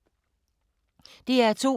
DR2